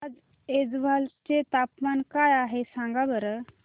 आज ऐझवाल चे तापमान काय आहे सांगा बरं